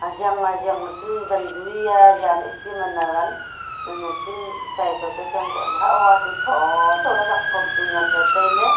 ajang ajang ley chu wanju hiya jan heh si man awan man aching chai to ka chang koh le hah wa to thotho le jang phom chu ngan taile.